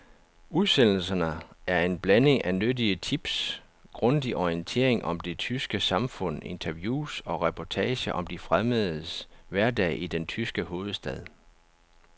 Udsendelserne er en blanding af nyttige tips, grundig orientering om det tyske samfund, interviews og reportager om de fremmedes hverdag i den tyske hovedstad.